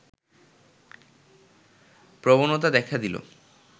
প্রবণতা দেখা দিল